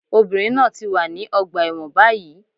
Obìnrin náà ti wà ní ọgbà ẹ̀wọ̀n báyìí